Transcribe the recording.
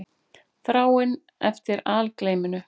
Þráin eftir algleyminu.